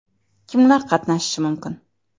Kimlar qatnashishi mumkin?